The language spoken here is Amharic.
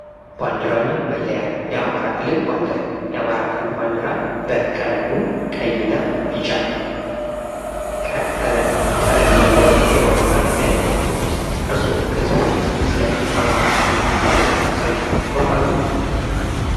ባንድራ እና መለያ ፦ የአማራ ክልል ባንድራ ፦የአማራ ክልል ባንድራ እቀለሙ ወይና ቢጫ ከለር ቀለም ያለው የባንድራ አይነት ነው። እርስዎ ከዚህ በፊት ስለ አማራ ክልል ባንድራ ሰምተው ያውቃሉ?